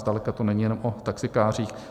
Zdaleka to není jenom o taxikářích.